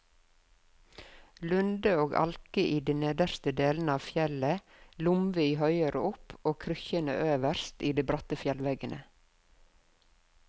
Lunde og alke i de nedre delene av fjellet, lomvi høyere opp og krykkjene øverst, i de bratteste veggene.